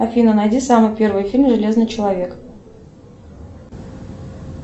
афина найди самый первый фильм железный человек